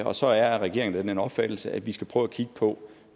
og så er regeringen af den opfattelse at vi skal prøve at kigge på